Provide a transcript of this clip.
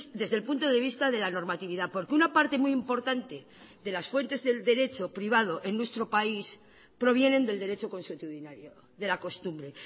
desde el punto de vista de la normatividad porque una parte muy importante de las fuentes del derecho privado en nuestro país provienen del derecho constitudinario de la costumbre